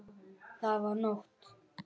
Það var nótt.